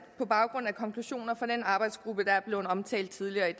på baggrund af konklusioner fra den arbejdsgruppe der er blevet omtalt tidligere i